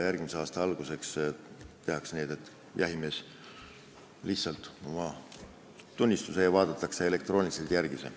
Järgmise aasta alguseks tehakse nii, et see vaadatakse elektrooniliselt järele.